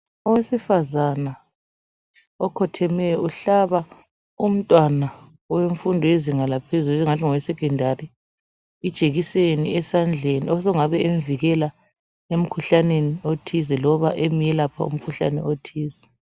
Owesifazana okhothemeyo umhlaba umntwana owe mfundo yezinga laphezulu ongathi ngowe ngowesekhondali umhlaba ijekiseni engabe emvikela emikhuhlaneni othize loba emelapha umkhuhlane othize